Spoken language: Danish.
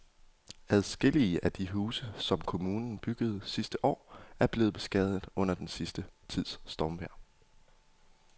Adskillige af de huse, som kommunen byggede sidste år, er blevet beskadiget under den sidste tids stormvejr.